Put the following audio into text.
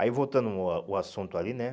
Aí, voltando o ah o assunto ali, né?